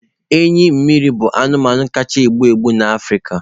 Enyi mmiri bụ anụmanụ kacha egbu egbu na Africa